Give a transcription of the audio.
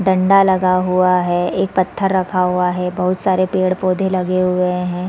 डंडा रखा हुआ हैं एक पत्थर रखा हुआ हैं बहोत सारे पेड़-पोधे लगे हुए हैं।